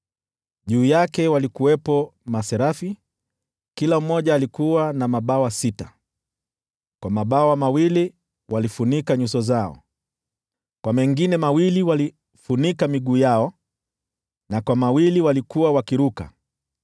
Juu yake walikuwepo maserafi, kila mmoja alikuwa na mabawa sita: Kwa mabawa mawili walifunika nyuso zao, kwa mengine mawili walifunika miguu yao, na kwa mawili walikuwa wakiruka.